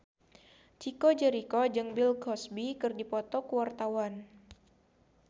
Chico Jericho jeung Bill Cosby keur dipoto ku wartawan